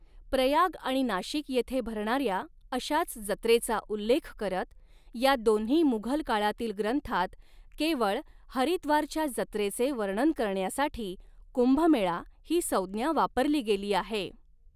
प्रयाग आणि नाशिक येथे भरणाऱ्या अशाच जत्रेचा उल्लेख करत, या दोन्ही मुघल काळातील ग्रंथांत केवळ हरिद्वारच्या जत्रेचे वर्णन करण्यासाठी कुंभमेळा ही संज्ञा वापरली गेली आहे.